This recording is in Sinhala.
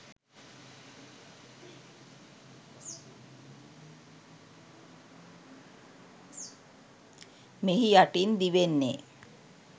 මෙහි යටින් දිවෙන්නේ